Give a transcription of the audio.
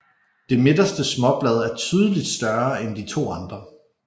Det midterste småblad er tydeligt større end de to andre